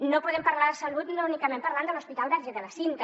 no podem parlar de salut únicament parlant de l’hospital verge de la cinta